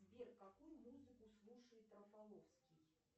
сбер какую музыку слушает рафаловский